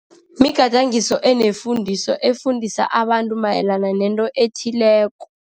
Migadangiso enefundiso efundisa abantu mayelana nento ethileko.